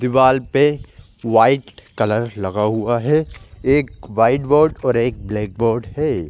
दीवाल पे white colour लगा हुआ है एक वाइट बोर्ड और एक ब्लैक बोर्ड हैं।